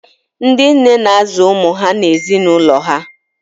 Ndị nne na-azụ ụmụ ha na ezinụlọ ha.